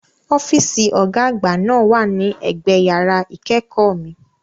Ọ́fíìsì Ọ̀gá àgbà náà wà ní ẹ̀gbẹ yàrá ìkẹ́kọ̀ọ́ mi